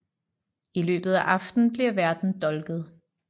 I løbet af aftenen bliver værten dolket